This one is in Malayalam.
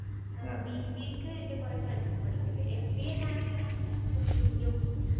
ആഹ് BBA ക്ക് എൻ്റെ കുറെ friends ഒക്കെ പഠിക്കുണ്ട് MBA ഞാനിങ്ങനെ യൂട്യുബിലും